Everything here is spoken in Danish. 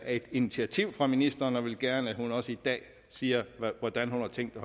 et initiativ fra ministeren og vil gerne have at hun også i dag siger hvordan hun har tænkt